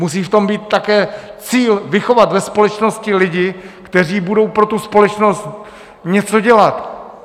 Musí v tom být také cíl vychovat ve společnosti lidi, kteří budou pro tu společnost něco dělat.